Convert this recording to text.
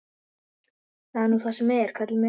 Það er nú það sem er, Kalli minn.